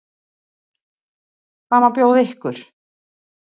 Hvað má bjóða ykkur?